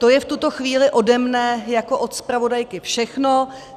To je v tuto chvíli ode mne jako od zpravodajky všechno.